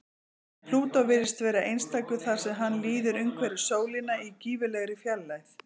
En Plútó virðist vera einstakur þar sem hann líður umhverfis sólina í gífurlegri fjarlægð.